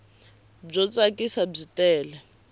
byo tsakisa byi tele